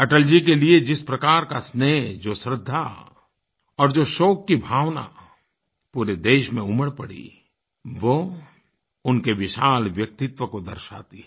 अटल जी के लिए जिस प्रकार का स्नेह जो श्रद्धा और जो शोक की भावना पूरे देश में उमड़ पड़ी वो उनके विशाल व्यक्तित्व को दर्शाती है